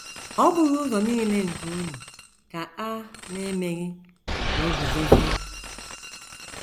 “ Ọ́ bụghị ụzọ nile nke unu ka a na - emeghị ka o guzozie? ”